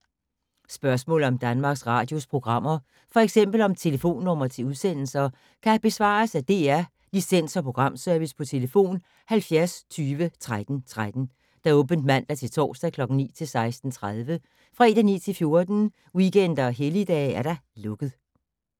Spørgsmål om Danmarks Radios programmer, f.eks. om telefonnumre til udsendelser, kan besvares af DR Licens- og Programservice: tlf. 70 20 13 13, åbent mandag-torsdag 9.00-16.30, fredag 9.00-14.00, weekender og helligdage: lukket.